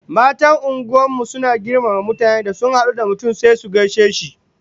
Matan unguwar mu suna da girmama mutane, da sun hadu da mutum sai su gaishe shi